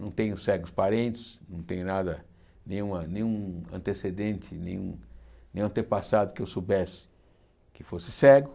Não tenho cegos parentes, não tenho nada, nenhuma nenhum antecedente, nenhum nenhum antepassado que eu soubesse que fosse cego.